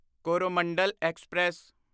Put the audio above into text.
Coromandel express